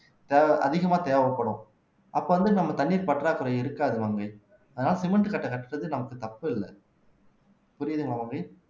தேவை அதிகமாக தேவைப்படும் அப்ப வந்து நம்ம தண்ணீர் பற்றாக்குறை இருக்காது மங்கை அதனால சிமெண்ட் கட்டை கட்டுறது நமக்கு தப்பு இல்ல புரியுதுங்களா மங்கை